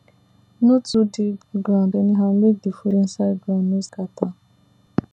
no too dig ground anyhow make the food inside ground no scatter